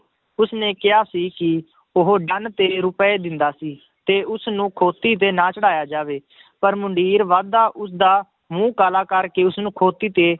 ਉਸਨੇ ਕਿਹਾ ਸੀ ਕਿ ਉਹ ਤੇਰੇ ਰੁਪਏ ਦਿੰਦਾ ਸੀ ਤੇ ਉਸਨੂੰ ਖੋਤੀ ਤੇ ਨਾ ਚੜ੍ਹਾਇਆ ਜਾਵੇ ਪਰ ਮੁੰਡੀਰ ਵੱਧਦਾ ਉਸਦਾ ਮੂੰਹ ਕਾਲਾ ਕਰਕੇ ਉਸਨੂੰ ਖੋਤੀ ਤੇ,